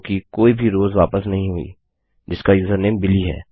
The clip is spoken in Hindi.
क्योंकि कोई भी रोव्स वापस नहीं हुई जिसका यूजरनेम बिली है